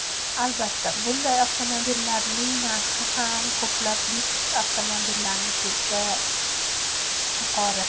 Albatta, bunday avtomobillarning narxi ham ko‘plab lyuks avtomobillarnikida yuqori.